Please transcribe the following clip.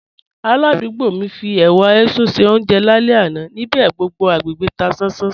Álàdùúgbò mi ń fí ẹ̀wà èéṣú ṣe ọúnjẹ láàlẹ́ àná, níbẹ̀ gbogbo agbegbé tà sán sán.